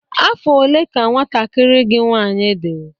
Afọ ole ka nwantakịrị gị nwanyị dị?